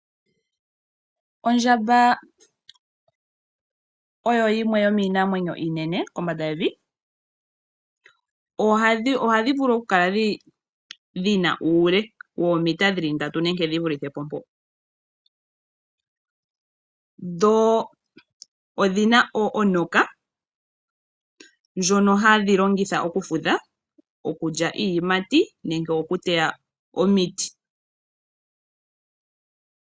Ondjamba oyo yimwe yomiinamwenyo iinene kombanda yevi. Ohadhi vulu okukala dhi na uule woomita dhi li ndatu nenge shivulithe po mpo . Dho odhi na oonuka ndhono hadhi longitha okufudha , okulya iiyimati nenge okuteya omiti.